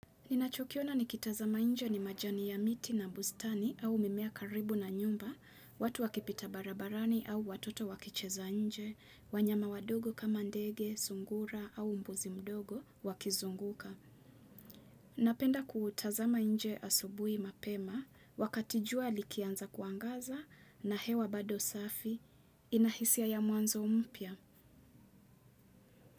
Ninachokiona nikitazama nje ni majani ya miti na bustani au mimea karibu na nyumba, watu wakipita barabarani au watoto wakicheza nje, wanyama wadogo kama ndege, sungura au mbuzi mdogo wakizunguka. Napenda kutazama nje asubuhi mapema, wakatijua likianza kuangaza na hewa bado safi, inahisia ya mwanzo mpya.